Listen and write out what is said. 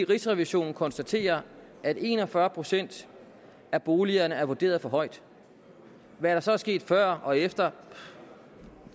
rigsrevisionen konstaterer at en og fyrre procent af boligerne er vurderet for højt hvad der så er sket før og efter